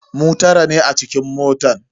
Mu tara ne a cikin motan.